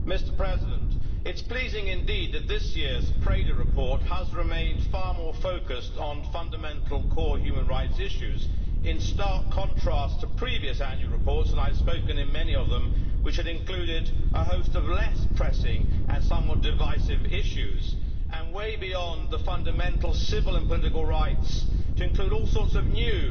Mr President, it is pleasing indeed that this year's Preda report has remained far more focused on fundamental core human rights issues, in stark contrast to previous annual reports and I have spoken on many of them which included a host of less pressing and somewhat divisive issues, way beyond the fundamental civil and political rights, to include all sorts of new